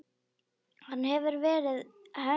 Hann hefur verið henni góður.